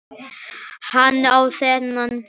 Hann á þennan hest.